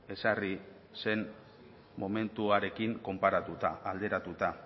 ezarri zen momentuarekin konparatuta alderatuta